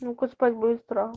ну-ка спать будешь